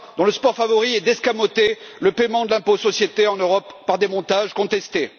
dont le sport favori est d'escamoter le paiement de l'impôt sur les sociétés en Europe par des montages contestés.